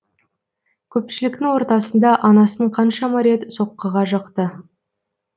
көпшіліктің ортасында анасын қаншама рет соққыға жықты